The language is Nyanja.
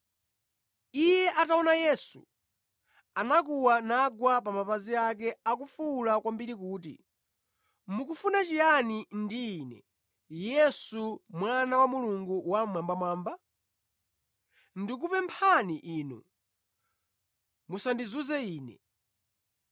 Iye ataona Yesu, anakuwa nagwa pa mapazi ake akufuwula kwambiri kuti, “Mukufuna chiyani ndi ine, Yesu Mwana wa Mulungu Wammwambamwamba? Ndikupemphani Inu, musandizunze ine!”